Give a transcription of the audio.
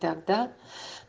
тогда